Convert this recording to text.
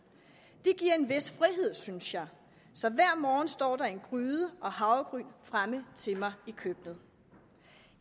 det giver en vis frihed synes jeg så hver morgen står der en gryde og havregryn fremme til mig i køkkenet